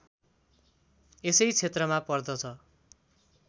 यसै क्षेत्रमा पर्दछ